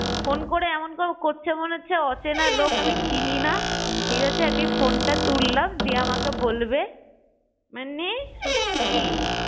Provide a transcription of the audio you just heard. Phone করে এমন করছে মনে হচ্ছে অচেনা লোক আমি চিনি না ঠিক আছে আমি ফোনটা তুললাম, দিয়ে আমাকে বলবে মানে সত্যি! হুম